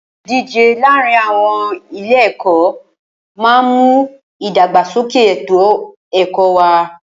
Ìdíje láàárin àwọn ilé ẹ̀kọ́ máà ń mú ìdàgbàsókè ètò ẹ̀kọ́ wá.